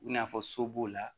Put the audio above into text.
I n'a fɔ so b'o la